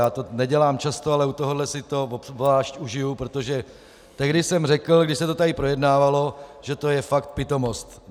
Já to nedělám často, ale u tohoto si to obzvlášť užiji, protože tehdy jsem řekl, když se to tady projednávalo, že to je fakt pitomost.